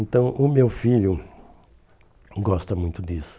Então o meu filho gosta muito disso.